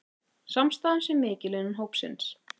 Samstaðan sé mikil innan hópsins